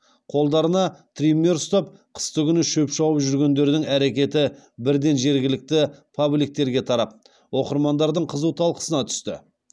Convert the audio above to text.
қолдарына триммер ұстап қыстыгүні шөп шауып жүргендердің әрекеті бірден жергілікті пабликтерге тарап оқырмандардың қызу талқысына түсті